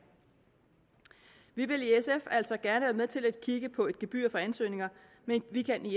vi vil i sf altså gerne være med til at kigge på et gebyr for ansøgninger men vi kan